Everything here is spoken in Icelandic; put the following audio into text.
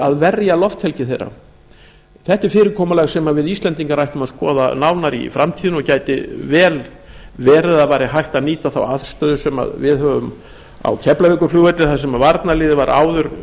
að verja lofthelgi þeirra þetta er fyrirkomulag sem við íslendingar ættum að skoða nánar í framtíðinni og gæti vel verið að væri hægt að nýta þá aðstöðu sem við höfum á keflavíkurflugvelli þar sem varnarliðið var áður